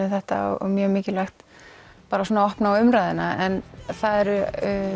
um þetta og mjög mikilvægt að opna á umræðuna en það eru